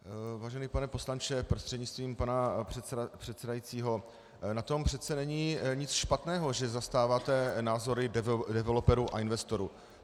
Vážený pane poslanče prostřednictvím pana předsedajícího, na tom přece není nic špatného, že zastáváte názory developerů a investorů.